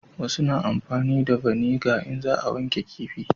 Wasu na amfani da vaniga in za a wanke kifi